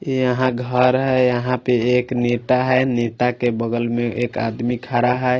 यहा घर है यहा पे एक नेता है नेता के बगल में एक आदमी खरा है।